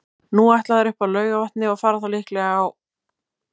Nú ætla þær upp að Laugarvatni og fara þá líklega á